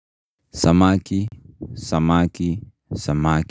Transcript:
Samaki, samaki, samaki.